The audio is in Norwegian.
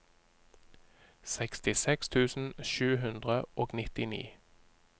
sekstiseks tusen sju hundre og nittini